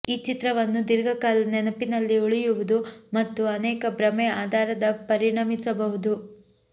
ಈ ಚಿತ್ರವನ್ನು ದೀರ್ಘಕಾಲ ನೆನಪಿನಲ್ಲಿ ಉಳಿಯುವುದು ಮತ್ತು ಅನೇಕ ಭ್ರಮೆ ಆಧಾರದ ಪರಿಣಮಿಸಬಹುದು